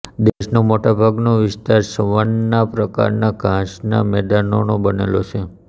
દેશનો મોટાભાગનો વિસ્તાર સવાન્ના પ્રકારના ઘાસના મેદાનોનો બનેલો છે